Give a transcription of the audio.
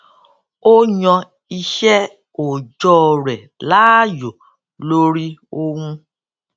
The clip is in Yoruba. o yan iṣẹ òòjọ rẹ láàyò lori ohun